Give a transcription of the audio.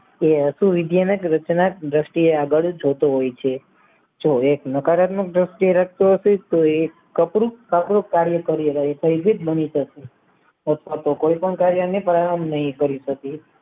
તે અસુર વિદ્યાને રચનાક દ્રષ્ટિ એ આગળ જોતો હોય છે જો એક નકારાત્મક દ્રષ્ટિએ રાચતો હશે તોતે કાર્ય કરી રહ્યું છે આપણું કાર્ય કરી બની રહ્યું છે કોઈ પણ કાર્ય ને પરિણામ નહિ કરી શકે